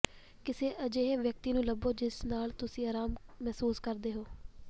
ਕਿਸੇ ਅਜਿਹੇ ਵਿਅਕਤੀ ਨੂੰ ਲੱਭੋ ਜਿਸ ਨਾਲ ਤੁਸੀਂ ਆਰਾਮ ਮਹਿਸੂਸ ਕਰਦੇ ਹੋ